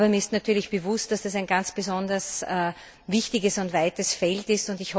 Aber mir ist natürlich bewusst, dass das ein ganz besonders wichtiges und weites Feld ist.